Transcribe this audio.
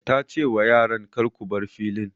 Ta ce wa yaran 'Kar ku bar filin'!